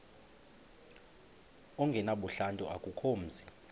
ongenabuhlanti akukho mzi